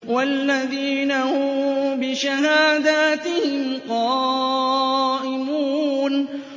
وَالَّذِينَ هُم بِشَهَادَاتِهِمْ قَائِمُونَ